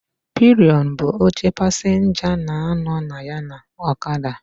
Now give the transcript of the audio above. Pilion bụ oche pasịnja na-anọ na ya na ọkada.